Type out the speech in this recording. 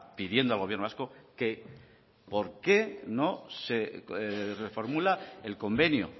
pidiendo al gobierno vasco que porqué no se reformula el convenio